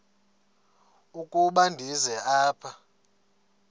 ukuba ndize apha